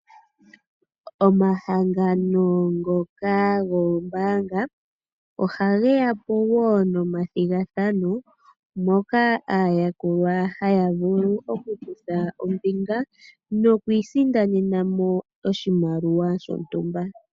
Omahangano ngoka goombaanga oha geya po nomathigathano moka aayakulwa haya vulu oku kutha ombinga noku isindanena mo oshimaliwa shontumba.